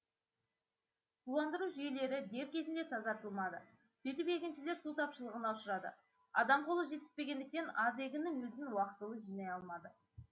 суландыру жүйелері дер кезінде тазартылмады сөйтіп егіншілер су тапшылығына ұшырады адам қолы жетіспегендіктен аз егіннің өзін уақытылы жинай алмады